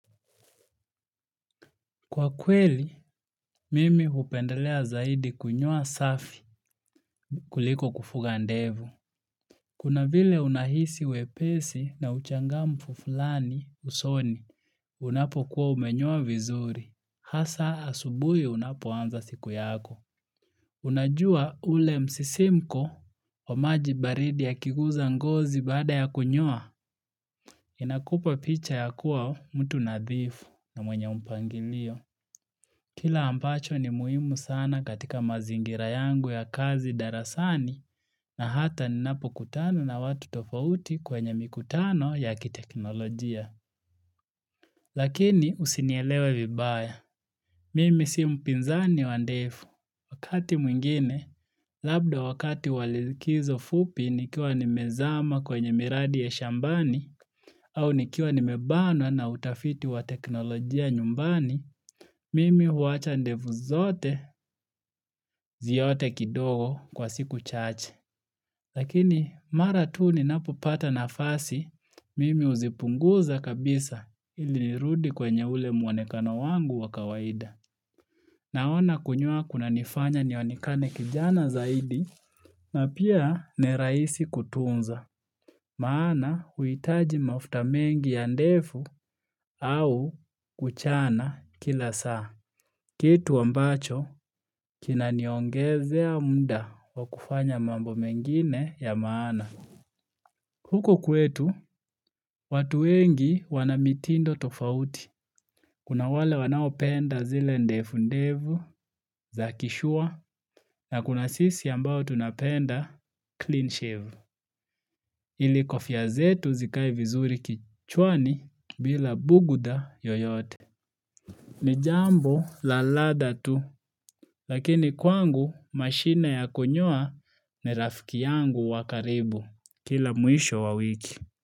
Kwa kweli, mimi hupendelea zaidi kunyoa safi kuliko kufuga ndevu. Kuna vile unahisi wepesi na uchangamfu fulani usoni unapo kuwa umenyoa vizuri. Hasa asubuhi unapoanza siku yako. Unajua ule msisimko wa maji baridi yakiguza ngozi baada ya kunyoa? Inakupa picha ya kuwa mtu nadhifu na mwenye mpangilio. Kile ambacho ni muhimu sana katika mazingira yangu ya kazi darasani na hata ninapokutano na watu tofauti kwenye mikutano yakiteknolojia. Lakini usinielewe vibaya. Mimi si mpinzani wa ndevu wakati mwingine, labda wakati wa likizo fupi nikiwa nimezama kwenye miradi ya shambani au nikiwa nimebanwa na utafiti wa teknolojia nyumbani, mimi huwacha ndevu zote ziote kidogo kwa siku chache. Lakini mara tu ninapupata na fasi, mimi huzipunguza kabisa ili nirudi kwenye ule muonekano wangu wa kawaida. Naona kunyoa kunanifanya nionekane kijana zaidi na pia ni rahisi kutunza. Maana hauhitaji mafuta mengi ya ndevu au kuchana kila saa. Kitu ambacho kinaniongezea munda wa kufanya mambo mengine ya maana. Huko kwetu, watu wengi wanamitindo tofauti. Kuna wale wanao penda zile ndevu ndefu za kishua na kuna sisi ambao tunapenda clean shave. Ili kofia zetu zikae vizuri kichwani bila bugudha yoyote. Ni jambo la lada tu, lakini kwangu mashine ya kunyoa ni rafiki yangu wa karibu. Kila mwisho wa wiki.